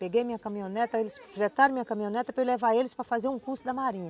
Peguei minha caminhoneta, eles fretaram minha caminhoneta para eu levar eles para fazer um curso da marinha.